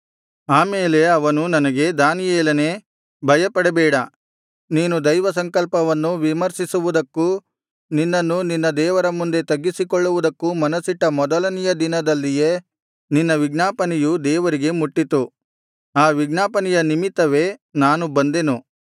ಆ ಮೇಲೆ ಅವನು ನನಗೆ ದಾನಿಯೇಲನೇ ಭಯಪಡಬೇಡ ನೀನು ದೈವಸಂಕಲ್ಪವನ್ನು ವಿಮರ್ಶಿಸುವುದಕ್ಕೂ ನಿನ್ನನ್ನು ನಿನ್ನ ದೇವರ ಮುಂದೆ ತಗ್ಗಿಸಿಕೊಳ್ಳುವುದಕ್ಕೂ ಮನಸ್ಸಿಟ್ಟ ಮೊದಲನೆಯ ದಿನದಲ್ಲಿಯೇ ನಿನ್ನ ವಿಜ್ಞಾಪನೆಯು ದೇವರಿಗೆ ಮುಟ್ಟಿತು ಆ ವಿಜ್ಞಾಪನೆಯ ನಿಮಿತ್ತವೇ ನಾನು ಬಂದೆನು